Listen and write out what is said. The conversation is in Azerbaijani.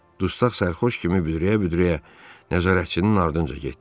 Dustaq sərxoş kimi büdrəyə-büdrəyə nəzarətçinin ardınca getdi.